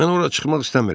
Mən ora çıxmaq istəmirəm.